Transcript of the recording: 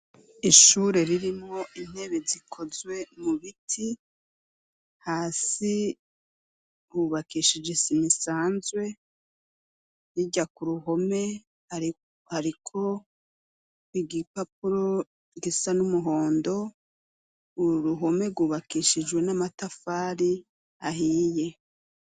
Ishure ririmo intebe zikozwe mu biti hasi hubakishije isima sanzwe hirya ku ruhome hariko igipapuro gisa n'umuhondo uru ruhome rwubakishijwe n'amatafari ahiye.